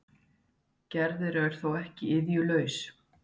Gerður er þó ekki iðjulaus.